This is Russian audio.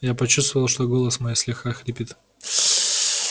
я почувствовал что голос мой слегка хрипит